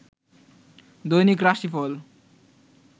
দৈনিক রাশিফল